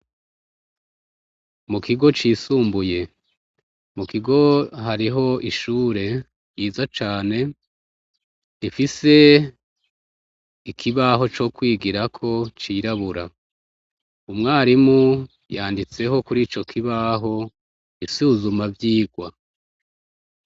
Mukigo cisumbuye, mukigo hariho ishure ryiza cane ifise ikibaho cokwigirako c’irabura, umwarimu yanditseho kurico kibaho isuzuma vyigwa.